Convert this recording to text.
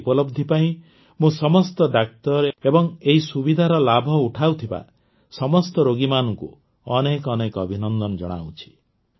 ଏହି ଉପଲବ୍ଧି ପାଇଁ ମୁଁ ସମସ୍ତ ଡାକ୍ତର ଏବଂ ଏହି ସୁବିଧାର ଲାଭ ଉଠାଉଥିବା ସମସ୍ତ ରୋଗୀମାନଙ୍କୁ ଅନେକ ଅନେକ ଅଭିନନ୍ଦନ ଜଣାଉଛି